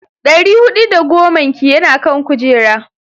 Dari hudu da goman ki yana kan kujera.